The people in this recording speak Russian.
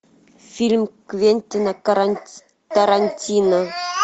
фильм квентина тарантино